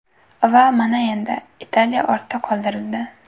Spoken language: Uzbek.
Va mana endi, Italiya ortda qoldirildi.